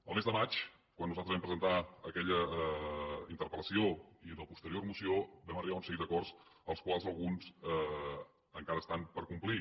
el mes de maig quan nosaltres vam presentar aquella interpel·lació i en la posterior moció vam arribar a un seguit d’acords dels quals alguns encara estan per complir